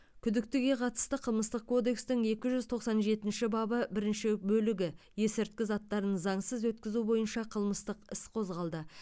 күдіктіге қатысты қылмыстық кодекстің екі жүз тоқсан жетінші бабы бірінші бөлігі есірткі заттарын заңсыз өткізу бойынша қылмыстық іс қозғалды